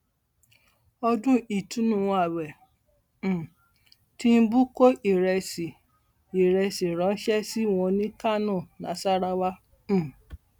ọdún ìtùnú ààwẹ um tìǹbù kó ìrẹsì ìrẹsì ránṣẹ sí wọn ní kánò nasarawa um